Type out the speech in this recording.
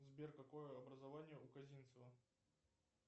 сбер какое образование у казинцева